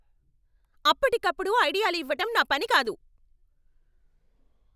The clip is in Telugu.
అప్పటికప్పుడు ఐడియాలు ఇవ్వటం నా పని కాదు.